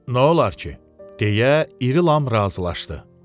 Nə olar ki, deyə İri Lam razılaşdı.